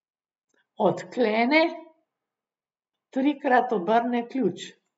Odklene, trikrat obrne ključ.